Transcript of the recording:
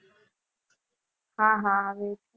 હા હા આવે છે.